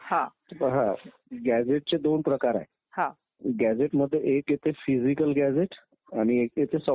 चुनाव मध्ये नेमकं काय करावं लागतं आपल्याला? चुनाव प्रक्रिया कश्या प्रकारे करावी लागते? निवडणूक आपल्याला कश्या प्रकारे घ्यावी लागते? तुम्ही शकाल का?